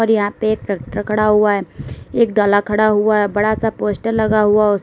यहां पे एक ट्रैक्टर खड़ा हुआ है एक डला खड़ा हुआ है बड़ा सा पोस्टर लगा हुआ उस --